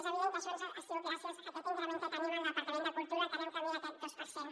és evident que això ha sigut gràcies a aquest increment que tenim al departa·ment de cultura que anem camí d’aquest dos per cent